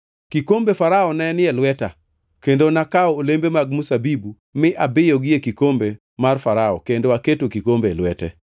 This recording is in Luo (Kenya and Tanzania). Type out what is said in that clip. Kikombe Farao ne ni e lweta, kendo nakawo olembe mag mzabibu mi abiyogi e kikombe mar Farao kendo aketo kikombe e lwete.”